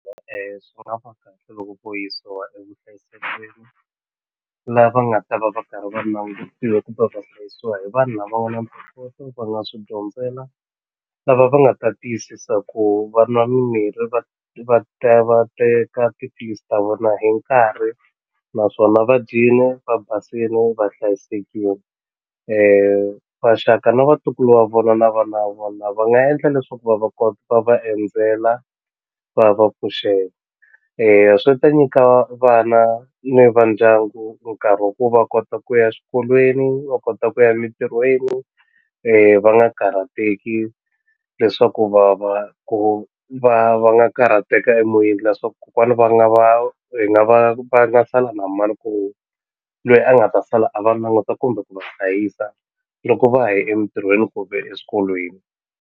Swi nga loko vo yisiwa evuhlayiselweni laha va nga ta va va karhi va langutiwa kumbe va hlayisiwa hi vanhu lava nga na ntokoto va nga swi dyondzela lava va nga ta tiyisisa ku va nwa mimirhi va teka tiphilisi ta vona hi nkarhi naswona va dyile va basini va hlayisekile maxaka na vatukulu va vona na vana va vona va nga endla leswaku va va va endzela va va pfuxela swi ta nyika vana ni va ndyangu nkarhi wa ku va kota ku ya swikolweni va kota ku ya emintirhweni va nga karhateki leswaku va va ku va va nga karhateka emoyeni leswaku kokwana va nga va hi nga va va nga sala na mani loyi a nga ta sala a va languta kumbe ku va hlayisa loko va ha ye emintirhweni kumbe eswikolweni.